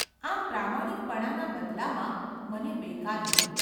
આમ પ્રામાણિકપણાના બદલામાં મને બેકારી મળી.